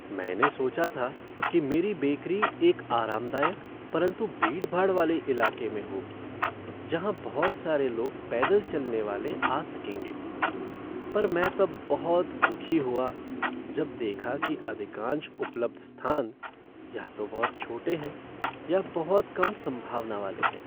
मैंने सोचा था कि मेरी बेकरी एक आरामदायक परंतु भीड़भाड़ वाले इलाके में होगी जहां बहुत सारे लोग पैदल चलने वाले आ सकेंगे, पर मैं तब बहुत दुखी हुआ जब देखा कि अधिकांश उपलब्ध स्थान या तो बहुत छोटे हैं या बहुत कम संभावना वाले हैं।